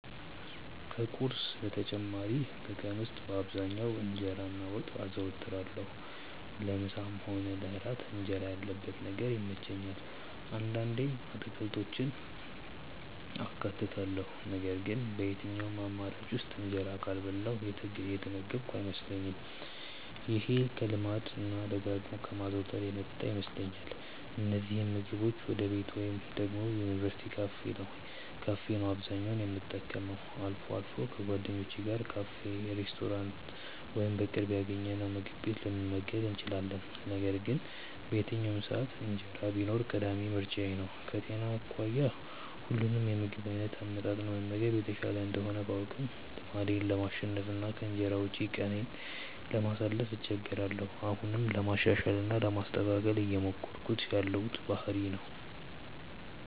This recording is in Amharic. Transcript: ከቁርስ በተጨማሪ በቀን ውስጥ በአብዛኛው እንጀራ እና ወጥ አዘወትራለሁ። ለምሳም ሆነ ለእራት እንጀራ ያለበት ነገር ይመቸኛል። አንዳንዴም አትክልቶችን አካትታለሁ ነገር ግን በየትኛውም አማራጭ ውስጥ እንጀራ ካልበላሁ የተመገብኩ አይመስለኝም። ይሄ ከልማድ እና ደጋግሞ ከማዘውተር የመጣ ይመስለኛል። እነዚህን ምግቦች ወይ ቤቴ ወይ ደግሞ የዩኒቨርስቲ ካፌ ነው አብዛኛውን የምጠቀመው። አልፎ አልፎ ከጓደኞቼ ጋር ካፌ፣ ሬስቶራንት ወይም በቅርብ ያገኘነውምግብ ቤት ልንመገብ እንችላለን። ነገር ግን በየትኛውም ሰዓት እንጀራ ቢኖር ቀዳሚ ምርጫዬ ነው። ከጤና አኳያ ሁሉንም የምግብ አይነት አመጣጥኖ መመገብ የተሻለ እንደሆነ ባውቅም ልማዴን ለማሸነፍ እና ከእንጀራ ውጪ ቀኔን ለማሳለፍ እቸገራለሁ። አሁንም ለማሻሻል እና ለማስተካከል እየሞከርኩት ያለው ባህሪዬ ነው።